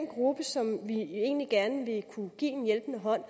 gruppe som vi egentlig gerne vil kunne give en hjælpende hånd